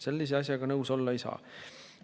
Sellise asjaga nõus olla ei saa.